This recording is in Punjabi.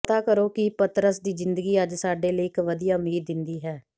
ਪਤਾ ਕਰੋ ਕਿ ਪਤਰਸ ਦੀ ਜ਼ਿੰਦਗੀ ਅੱਜ ਸਾਡੇ ਲਈ ਇਕ ਵਧੀਆ ਉਮੀਦ ਦਿੰਦੀ ਹੈ